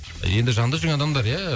енді жаныңда жүрген адамдар иә